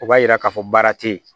O b'a yira k'a fɔ baara te yen